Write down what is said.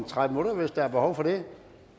tredive minutter hvis der er behov for det